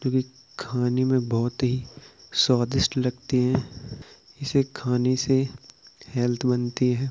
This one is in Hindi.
खाने में बहोत ही स्वादिष्ट लगती है। इसे खाने से हेल्थ बनती है।